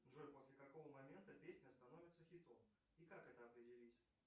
джой после какого момента песня становится хитом и как это определить